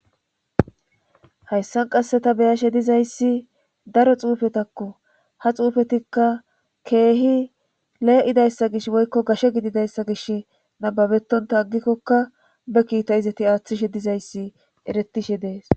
Hayssan qasse ta beyashe dizayssi daro xuufetakko ha xuufetikka keehi lee7idayssa gish woykko gashe gididayssa gish nababetonta aggikkokka be kiita izati aaththishe dizayssi eretishe dees.